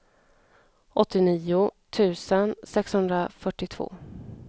åttionio tusen sexhundrafyrtiotvå